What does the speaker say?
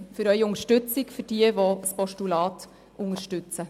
Danke für Ihre Unterstützung und an jene, die das Postulat unterstützen.